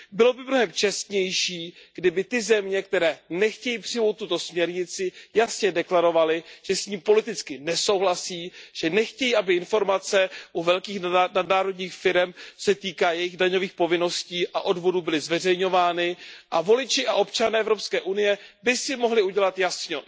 Bylo by mnohem čestnější, kdyby ty země, které nechtějí přijmout tuto směrnici, jasně deklarovaly, že s ní politicky nesouhlasí, že nechtějí, aby informace u velkých nadnárodních firem, co se týká jejich daňových povinností a odvodů, byly zveřejňovány a voliči a občané EU by si mohli udělat jasno.